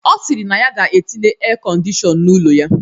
Ọ sịrị na ya ga-etinye erkọndishọn n'ụlọ ya